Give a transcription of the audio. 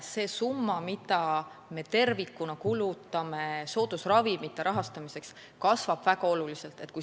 See summa, mida me tervikuna kulutame soodusravimite rahastamiseks, kasvab väga oluliselt.